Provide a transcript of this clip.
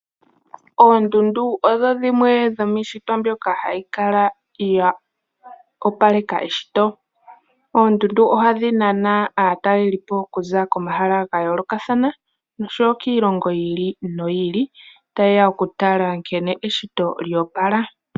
Oondundu odho dhimwe dhomiishitwa mbyoka hayi kala ya opaleka eshito, oondundu ohadhi nana aatalelipo okuza komahala ga yoolokathana. Noshowo kiilongo yi ili noyi ili, ta yeya okutala nkene eshito lyo opala.